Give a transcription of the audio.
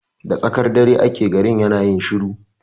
Da tsakar dare ake garin yana yin shiru